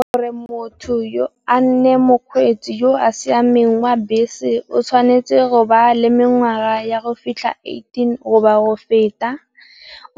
Gore motho yo a nne mokgweetsi yo a siameng wa bese o tshwanetse go ba le mengwaga ya go fitlha eighteen goba go feta.